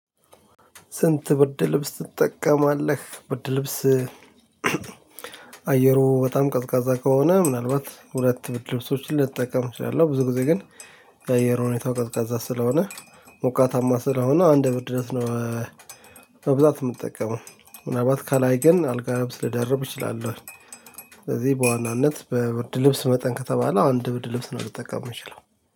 ስንት ብርድ ልብስ ትጠቀማለህ? ብርድ ልብስ አየሩ በጣም ቀዝቃዛ ከሆነ ምናልባት ሁለት ብርድ ልብሶችን ልጠቀም እችላለሁ። ብዙ ጊዜ ግን የአየር ሁኔታው ቀዝቃዛ ስለሆነ ሞቃታማ ስለሆነ አንድ ብርድ ልብስ ነው። በብዛት የምጠቀመው ምናልባት ከላይ ግን አልጋ ልብስ ልደርብ እችላለሁ። ስለዚህ በዋናነት በብርድ ልብስ መጠን ከተባለ አንድ ብርድ ልብስ ነው ልጠቀም የምችለው።